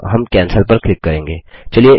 अतः हम कैंसेल पर क्लिक करेंगे